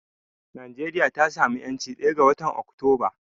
Najeriya ta samu 'yancinta ɗaya ga watan Oktoba.